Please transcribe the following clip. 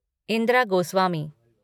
Indira Goswami